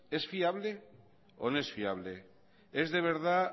es fiable o no es fiable es de verdad